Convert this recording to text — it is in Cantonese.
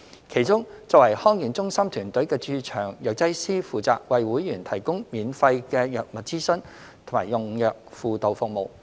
其中，作為康健中心團隊的駐場藥劑師負責為會員提供免費的藥物諮詢及用藥輔導服務。